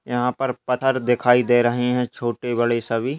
यहाँ पर पत्थर दिखाई दे रहे है छोटे बड़े सभी--